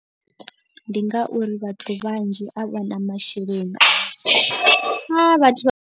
Ndi ngauri vhathu vhanzhi a vha na masheleni a vhathu vha.